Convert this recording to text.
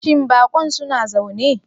Shin bakon suna zaune?